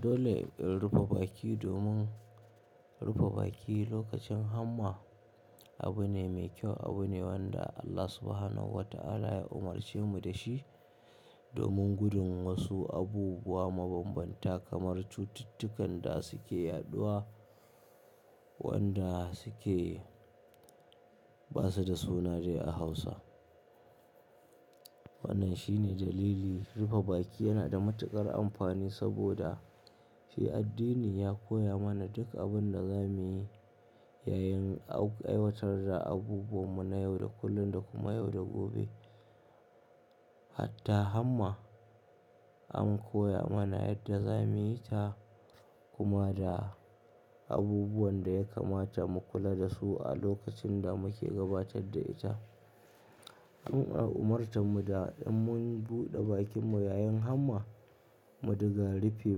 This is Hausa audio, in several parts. Dole in rufe baki domin rufe baki lokacin hamma abu ne mai kyau. Abu ne wanda Allah Subhanahu wa Ta'ala ya umarce mu da shi domin gudun wasu abubuwa mabanbanta kamar cututtukan da suke yaɗuwa wanda suke ba su da sunansu a Hausa. Wannan shine dalili, rufe baki yana da matuƙar amfani saboda shi addini ya koya mana duk abin da za mu yi yayin aiwatar da abubuwanmu na yau da kullun da kuma yau da gobe. Hatta hamma an koya mana yadda za mu yi ta kuma da abubuwan da ya kamata mu kula da su a lokacin da muke gabatar da ita. Mun a umarta mu da in mun buɗe bakinmu yayin hamma, mu dinga rufi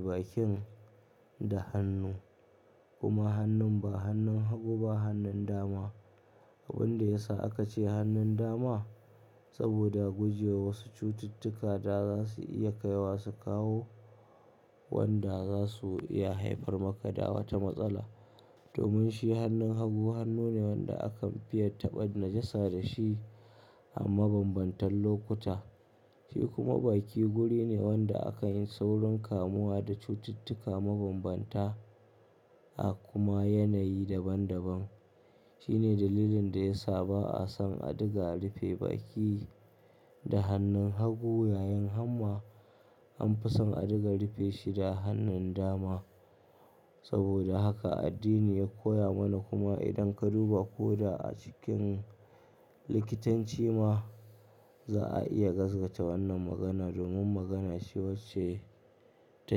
bakin da hannu kuma hannun ba hannun hagu ba hannun dama. Abin da ya sa aka ce hannun dama saboda guje wa wasu cututtuka da za su iya kaiwa su kawo wanda za su iya haifar maka da wata matsala. Domin shi hannun hagu hannu ne wanda akan fiya taɓa najasa da shi a mabambantan lokuta. Shi kuma baki guri ne wanda aka yin saurin kamuwa da cututtuka mabanbanta a kuma yanayi daban daban. Shi ne dalilin da ya sa ba'a son a dinga rufi baki da hannun hagu yayin hamma. An fi son a dinga rufe shi da hannun dama. Saboda haka addini ya koya mana kuma idan ka duba ko da a cikin likitanci ma, za a iya gaskata wannan magana domin magana ce wacce ta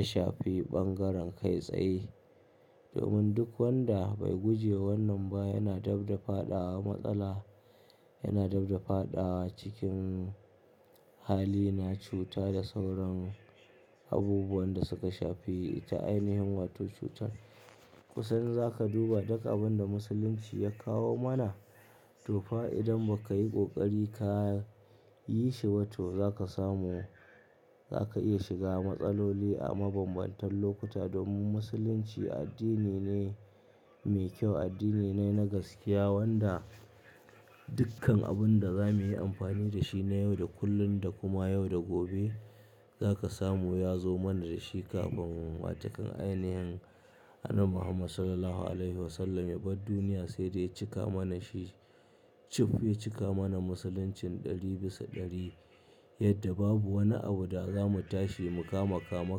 shafi bangaren kai tsaye. Domin duk wanda bai guje wannan ba yana dab da faɗawa matsala, yana dab da faɗa cikin hali na cuta da sauran abubuwan da suka shafi ta ainihin wato cutar. Kusan zaka duba duk abin da musulunci ya kawo mana to fa idan ba ka yi ƙoƙari ka yi shi ba to zaka samu zaka iya shiga matsaloli a mabambantan lokuta. Domin musulunci addini ne mai kyau, addini ne na gaskiya wanda dukkan abun da za mu yi amfani da shi na yau da kullun da kuma yau da gobe zaka samu ya zo mana da shi kafin wa takan ainihin Annabi Muhammad Sallallahu Alaihi Wasallama ya bar duniya sai da ya cika mana shi. Cif ya cika mana musuluncin ɗari bisa ɗari yadda babu wani abu da za mu tashi mu kama kama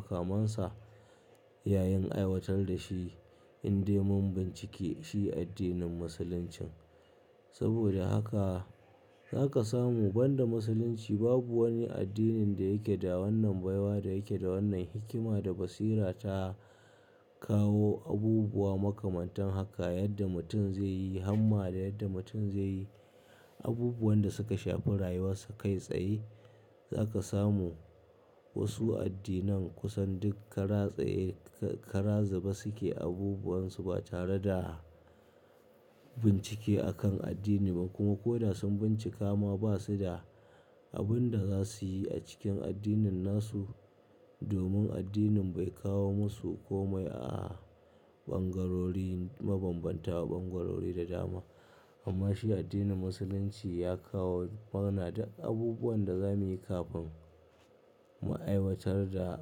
kamansa yayin aiwatar da shi in dai mun bincike shi addinin musulunci. Saboda haka zaka samu banda musulunci babu wani addinin da yake da wannan baiwa da yake da wannan hikima da basira ta kawo abubuwa makamantan haka yadda mutum zai yi hamma da yadda mutum zai yi abubuwan da suka shafi rayuwar sa kai tsaye. Zaka samu wasu addinan kusan duk kara tsaye kara zuba su ke abubuwan su ba tare da bincike a kan addini ba kuma ko da sun bincika ma ba su da abin da za su yi a cikin addinin nasu. Domin addinin bai kawo masu komai a bangarori mabanbanta bangarori da dama. Amma shi addinin musulunci ya kawo mana duk abubuwan da za mu yi kafin mu aiwatar da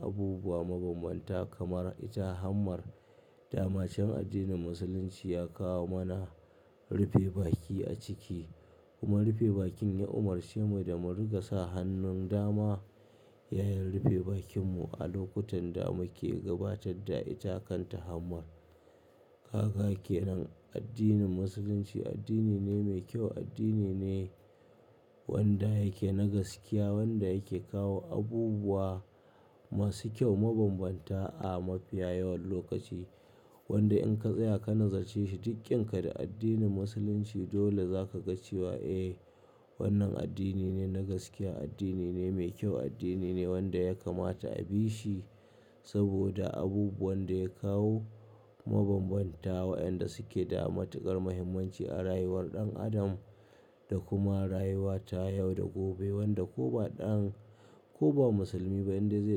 abubuwa mabanbanta kamar ita hammar da macen addinin musulunci ya kawo mana rufe baki a ciki kuma rufe bakin ya umarce mu da mu dinga sa hannun dama yayin rufe bakinmu a lokutan da muke gabatar da ita kanta hammar. Kaga kenan addinin musulunci addini ne mai kyau, addini ne wanda yake na gaskiya wanda yake kawo abubuwa masu kyau mabanbanta a mafiya yawan lokaci. Wanda in ka tsaya ka nazace shi duk ƙinka da addinin musulunci dole zaka ga cewa "Eh wannan addini ne na gaskiya, addini ne mai kyau, addini ne wanda ya kamata a bi shi saboda abubuwan da ya kawo mabanbanta wa'yanda suke da matuƙar muhimmanci a rayuwar ɗan adam da kuma rayuwa ta yau da gobe." Wanda ko ba ɗan ko ba musulmi ba in dai zai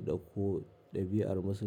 ɗauko ɗabi'ar musulmi.